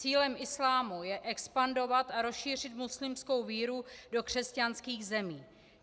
Cílem islámu je expandovat a rozšířit muslimskou víru do křesťanských zemí.